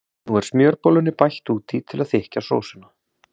Nú er smjörbollunni bætt út í til að þykkja sósuna.